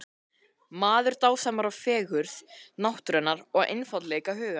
Maður dásamar fegurð náttúrunnar og einfaldleika hugans.